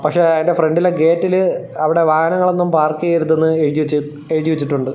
പക്ഷെ അതിന്റെ ഫ്രണ്ടിലെ ഗേറ്റിൽ അവിടെ വാഹനങ്ങൾ ഒന്നും പാർക്ക് ചെയ്യരുതെന്ന് എഴുതി വെച്ചി എഴുതി വെച്ചിട്ടുണ്ട്.